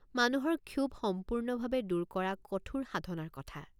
মানুহৰ ক্ষোভ সম্পূৰ্ণভাৱে দূৰ কৰা কঠোৰ সাধনাৰ কথা।